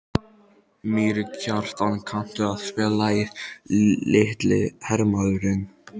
Mýrkjartan, kanntu að spila lagið „Litli hermaðurinn“?